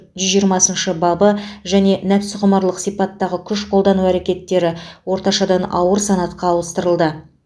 жүз жиырмасыншы бабы және нәпсіқұмарлық сипаттағы күш қолдану әрекеттері орташадан ауыр санатқа ауыстырылды